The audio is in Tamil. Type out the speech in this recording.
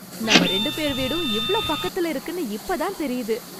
நம்ம ரெண்டு பேர் வீடும் இவ்ளோ பக்கத்துல இருக்குன்னு இப்ப தான் தெரியுது.